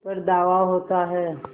पर धावा होता है